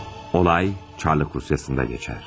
Olay Çarlık Rusyasında keçər.